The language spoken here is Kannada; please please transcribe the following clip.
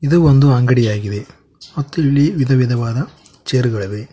ಇದು ಒಂದು ಅಂಗಡಿಯಾಗಿದೆ ಮತ್ತು ಇಲ್ಲಿ ವಿಧವಿಧವಾದ ಚೇರ್ ಗಳಿವೆ.